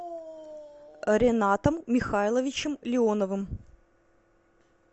ренатом михайловичем леоновым